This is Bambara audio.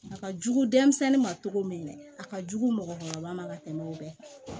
A ka jugu denmisɛnnin ma cogo min a ka jugu mɔgɔkɔrɔba ma ka tɛmɛ o bɛɛ kan